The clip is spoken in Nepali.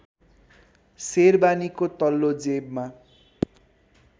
सेरबानीको तल्लो जेबमा